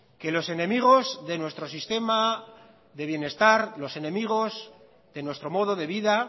que los enemigos de nuestro sistema de bienestar los enemigos de nuestro modo de vida